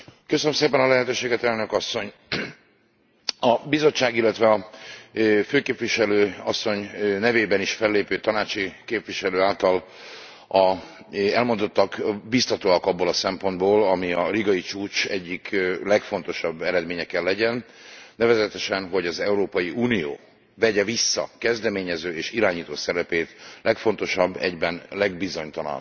Elnök Asszony, a Bizottság, illetve a főképviselő asszony nevében is fellépő tanácsi képviselő által az elmondottak biztatóak abból a szempontból, ami a rigai csúcs egyik legfontosabb eredménye kell legyen, nevezetesen, hogy az Európai Unió vegye vissza kezdeményező és irányító szerepét legfontosabb, egyben legbizonytalanabb szomszédságunkban.